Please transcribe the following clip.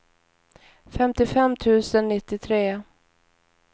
femtiofem tusen nittiotre